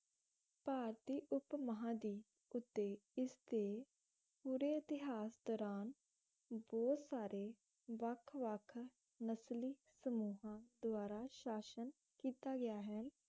ਭਾਰਤੀ ਉਪ ਮਹਾ ਦੀਪ ਉੱਤੇ ਇਸ ਦੇ ਪੂਰੇ ਇਤਿਹਾਸ ਦੌਰਾਨ ਬਹੁਤ ਸਾਰੇ ਵੱਖ ਵੱਖ ਨਸਲੀ ਸਮੂਹਾਂ ਦਵਾਰਾ ਸ਼ਾਸ਼ਨ ਕੀਤਾ ਗਿਆ ਹੈ